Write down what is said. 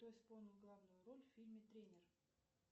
кто исполнил главную роль в фильме тренер